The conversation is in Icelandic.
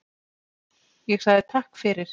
Ég sagði Takk fyrir.